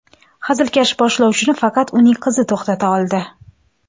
Hazilkash boshlovchini faqat uning qizi to‘xtata oldi.